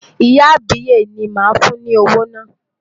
Ìyá àbíyè ni màá fún ní owó náà.